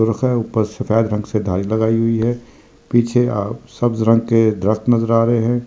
सफ़ेद रंग से धारी लगाई हुई है पीछे अ सब्ज रंग के रत्न नज़र आ रहे है।